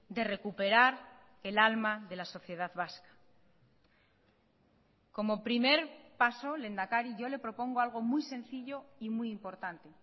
de recuperar el alma de la sociedad vasca como primer paso lehendakari yo le propongo algo muy sencillo y muy importante